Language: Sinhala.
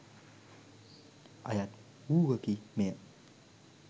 අයත් වූවකි මෙය